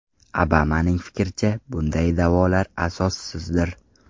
Obamaning fikricha, bunday da’volar asossizdir.